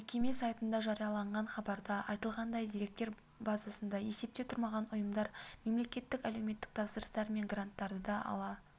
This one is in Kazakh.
мекеме сайтында жарияланған хабарда айтылғандай деректер базасында есепте тұрмаған ұйымдар мемлекеттік әлеуметтік тапсырыстар мен гранттарды ала